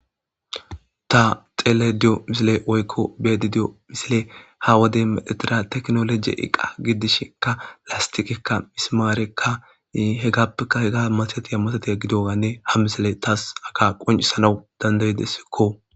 Ta xele diyo misile woykko bedi diyo misile ha wade meetira teknoloje iqa giddishinka lastiqikka misimaareka hegappeka hega maseti yammasatiya gidoganne ha misile taas aka qoncisanau dandayidessikko.